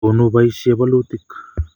konu boisie bolutik